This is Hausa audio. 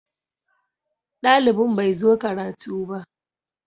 Dalibin bai zo karatu ba.